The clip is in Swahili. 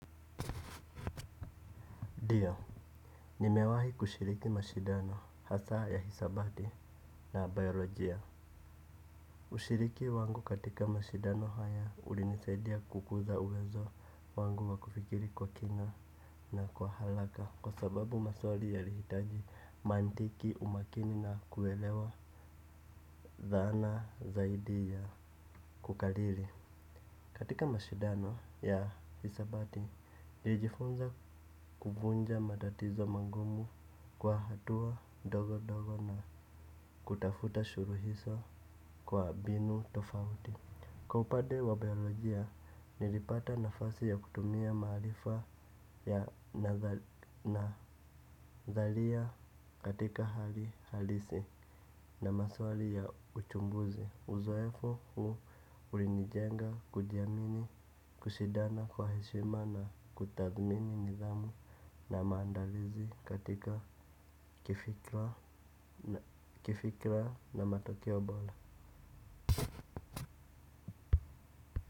Ndio nimewahi kushiriki mashindano hasaa ya hisabati na bayolojia. Ushiriki wangu katika mashindano haya ulinisaidia kukuza uwezo wangu wakufikiri kwa kina na kwa haraka. Kwa sababu maswali yalihitaji mantiki umakini na kuelewa dhahana zaidi ya kukariri. Katika mashidano ya hisabati, nilijifunza kuvunja matatizo magumu kwa hatua ndogondogo na kutafuta suluhisho kwa mbinu tofauti. Kwa upande wa biolojia, nilipata nafasi ya kutumia maarifa ya nazalia katika hali halisi na maswali ya uchumbuzi. Uzoefu huu ulinijenga kujiamini kushindana kwa heshima na kutadhmini nidhamu na maandalizi katika kifikra na matokeo bora.